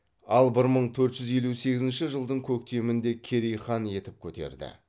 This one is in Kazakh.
ал бір мың төрт жүз елу сегізінші жылдың көктемінде керейді хан етіп көтерді